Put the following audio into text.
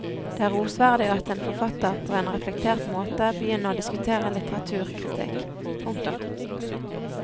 Det er rosverdig at en forfatter på en reflektert måte begynner å diskutere litteraturkritikk. punktum